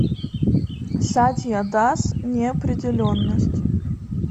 сатья дас неопределенность